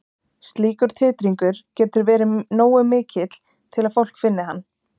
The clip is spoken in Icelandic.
Slíkur titringur getur verið nógu mikill til að fólk finni hann.